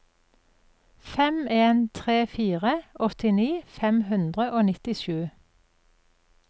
fem en tre fire åttini fem hundre og nittisju